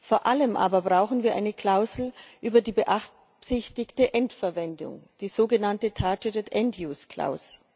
Vor allem aber brauchen wir eine Klausel über die beabsichtigte Endverwendung, die sogenannte targeted end use clause